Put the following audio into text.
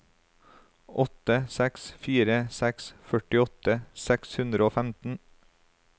åtte seks fire seks førtiåtte seks hundre og femten